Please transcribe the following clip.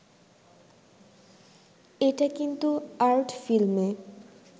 এটা কিন্তু আর্ট ফিল্মে